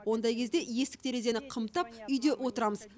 ондай кезде есік терезені қымтап үйде отырамыз